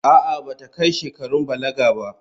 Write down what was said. A'a, ba ta kai shekarun balaga ba.